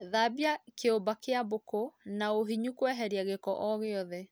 Thambia kĩimba kĩa mbũkũ na ũhinyu kweheria gĩko o gĩothe